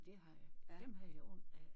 Det har jeg dem har jeg ondt af